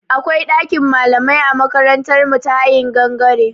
Akwai ɗakin malamai a makarantar mu ta hayin gangare.